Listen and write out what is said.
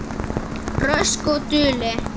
Rösk og dugleg.